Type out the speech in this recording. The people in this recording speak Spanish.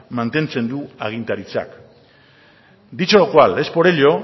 mantentzen du agintaritzak dicho lo cual es por ello